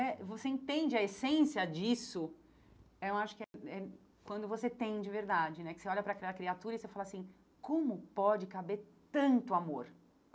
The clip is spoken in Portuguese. E você entende a essência disso, eu acho que é é quando você tem de verdade né, que você olha para aquela criatura e você fala assim, como pode caber tanto amor?